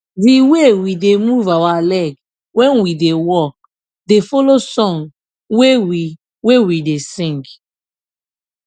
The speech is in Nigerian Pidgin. the way we da move our leg when we da work da follow song wey we wey we da sing